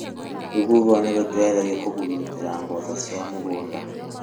Rũhuho nĩ rũteithagia kũhurutĩra mboco ci mũgũnda